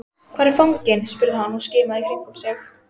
Hvar er fanginn? spurði hann og skimaði í kringum sig.